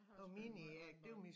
Jeg har også spille måj håndbold